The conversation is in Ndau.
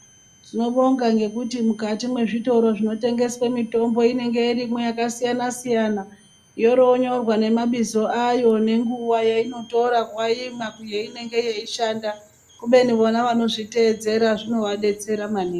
Tinobonga ngekuti mukati mwezvitoro zvinotengeswe mitombo inenge irimwo yakasiyanasiyana yorooyonoyrwa nemabizo ayo nenguwa yeinotora waimwa yeinenge yeishanda kubeni vanozviteedzera zvinenge zveishanda maningi.